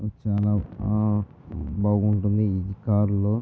ఇది చాలా బాగుంటుంది ఈ కార్ లో.